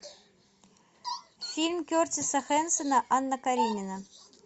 фильм кертиса хэнсона анна каренина